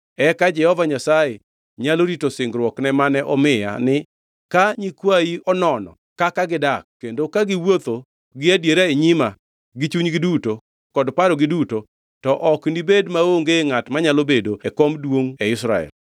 eka Jehova Nyasaye nyalo rito singruokne mane omiya ni, Ka nyikwayi onono kaka gidak kendo ka giwuotho gi adiera e nyima gi chunygi duto kod parogi duto to ok nibedi maonge ngʼat manyalo bedo e kom duongʼ e Israel.